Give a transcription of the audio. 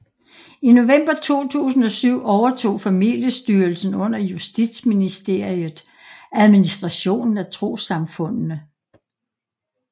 I november 2007 overtog Familiestyrelsen under Justitsministeriet administrationen af trossamfundene